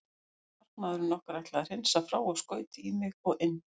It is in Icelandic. Markamaðurinn okkar ætlaði að hreinsa frá og skaut í mig og inn.